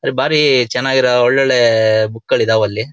ಬಾರಿ ಚೆನ್ನಾಗಿ ಇರೋ ಒಳ್ ಒಳ್ಳೆ ಬುಕ್ ಗಳ್ ಇದಾವಲ್ಲಿ.